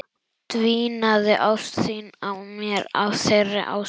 Dvínaði ást þín á mér af þeirri ástæðu?